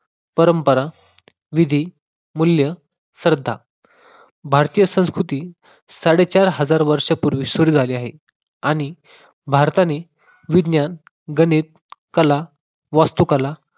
परंपरा, विधी, मूल्य, श्रद्धा. भारतीय संस्कृती साडेचार हजार वर्षापूर्वी सुरू झाली आहे आणि भारताने विज्ञान, गणित, कला, कला, वास्तुकला